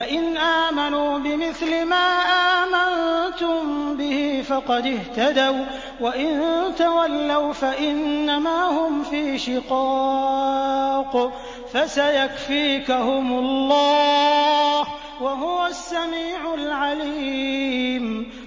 فَإِنْ آمَنُوا بِمِثْلِ مَا آمَنتُم بِهِ فَقَدِ اهْتَدَوا ۖ وَّإِن تَوَلَّوْا فَإِنَّمَا هُمْ فِي شِقَاقٍ ۖ فَسَيَكْفِيكَهُمُ اللَّهُ ۚ وَهُوَ السَّمِيعُ الْعَلِيمُ